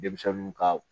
Denmisɛnninw ka